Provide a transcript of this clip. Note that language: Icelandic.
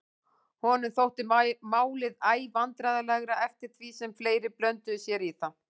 Honum þótti málið æ vandræðalegra eftir því sem fleiri blönduðu sér í það.